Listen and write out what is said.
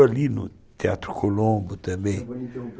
Ali no Teatro Colombo também